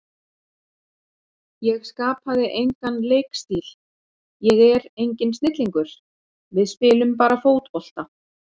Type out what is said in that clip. Ég skapaði engan leikstíl, ég er enginn snillingur, við spilum bara fótbolta.